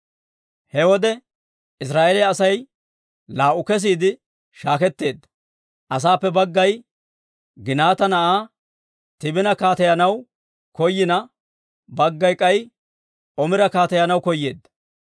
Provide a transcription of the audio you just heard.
He wode Israa'eeliyaa Asay laa"u kesiide shaaketeedda. Asaappe baggay Ginaata na'aa Tiibina kaateyanaw koyina, baggay k'ay Omira kaateyanaw koyeedda.